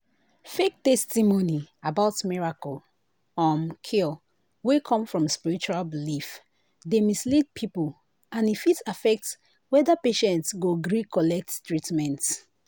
fake testimony about miracle um cure wey come from spiritual belief dey mislead people and e fit affect whether patient go gree collect treatment.